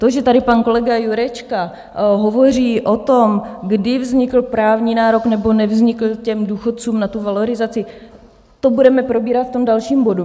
To, že tady pan kolega Jurečka hovoří o tom, kdy vznikl právní nárok nebo nevznikl těm důchodcům na tu valorizaci, to budeme probírat v tom dalším bodu.